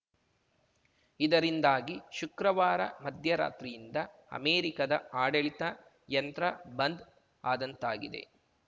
ಇದರಿಂದಾಗಿ ಶುಕ್ರವಾರ ಮಧ್ಯರಾತ್ರಿಯಿಂದ ಅಮೆರಿಕದ ಆಡಳಿತ ಯಂತ್ರ ಬಂದ್‌ ಆದಂತಾಗಿದೆ